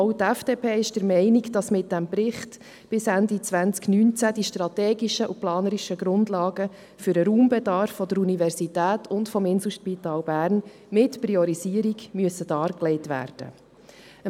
Auch die FDP ist der Meinung, dass mit diesem Bericht bis Ende 2019 die strategischen und planerischen Grundlagen für den Raumbedarf der Universität und des Inselspitals Bern mit Priorisierung dargelegt werden müssen.